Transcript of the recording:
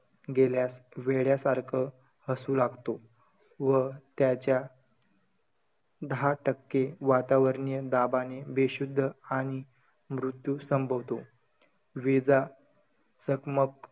गेल्यास वेड्यासारख हसू लागतो. व त्याच्या दहा टक्के वातावरणीय दाबाने बेशुध्द आणि मृत्यू संभोवतो. विजा चकमक,